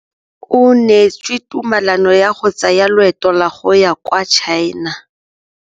O neetswe tumalanô ya go tsaya loetô la go ya kwa China.